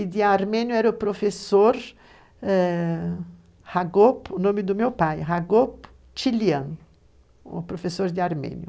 E de Armênia era o professor Hagop, o nome do meu pai, Hagop Tilian, o professor de Armênia.